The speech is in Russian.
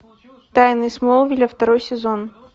тайны смолвиля второй сезон